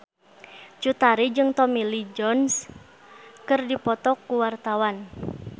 Cut Tari jeung Tommy Lee Jones keur dipoto ku wartawan